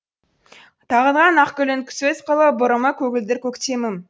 тағынған ақ гүлін көз қылып бұрымы көгілдір көктемім